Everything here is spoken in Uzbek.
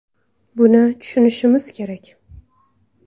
Buni tushunishimiz kerak.